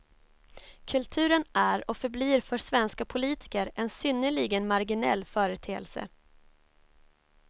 Kulturen är och förblir för svenska politiker en synnerligen marginell företeelse.